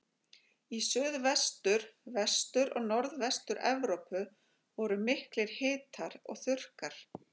Í Suðvestur-, Vestur- og Norðvestur-Evrópu voru miklir hitar og þurrkar.